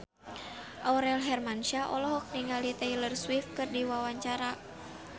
Aurel Hermansyah olohok ningali Taylor Swift keur diwawancara